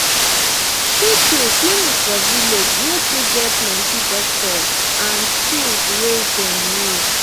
tru tru clinic for village no too get plenti doctor and tools wey dem need